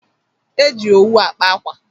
E ji owu akpa akwa.